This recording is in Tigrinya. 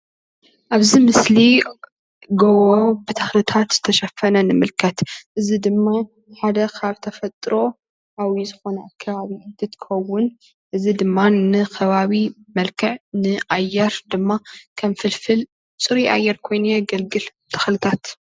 ኣብዚ ምስሊ ጎቦ ብተክልታት ዝተሸፈነ ንምልከት፡፡ እዚ ድማ ሓደ ካብ ተፈጥሮኣዊ ዝኮነ ከባቢ እንትከውን እዚ ድማ ንከባቢ መልክዕ ንኣየር ድማ ከም ፍልፍል ፅሩይ ኣየር ኮይኑ የገልግል ተክልታት፡፡